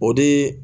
O de